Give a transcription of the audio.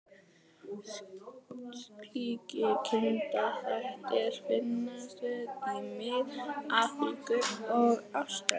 Slíkir kynþættir finnast víða í Mið-Afríku og Ástralíu.